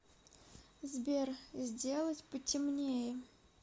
сбер сделать потемнее